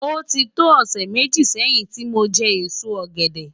Oti tó òsè méji sèyin ti mó jè ésó ògèdè